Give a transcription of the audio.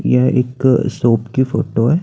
यह एक शॉप की फोटो है।